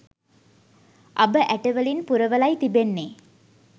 අබ ඇටවලින් පුරවලයි තිබෙන්නේ